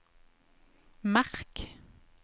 merk